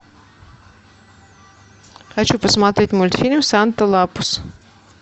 хочу посмотреть мультфильм санта лапус